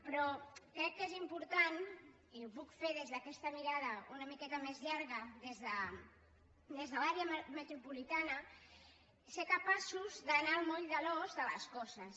però crec que és important i ho puc fer des d’aquesta mirada una miqueta més llarga des de l’àrea metropolitana ser capaços d’anar al moll de l’os de les coses